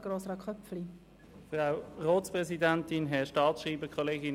Danke, wenn Sie uns folgen.